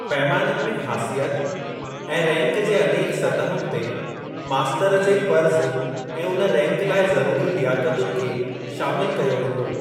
पैमाननि में ख़ासियत ऐं रैंक जे अनेक सतहुनि ते मास्तर जे फ़र्ज़ ऐं उन रैंक लाइ ज़रूरी लियाकतुनि खे शामिल कयो वेंदो।